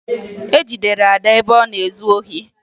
E jidere Ada ebe ọ na-ezu ohi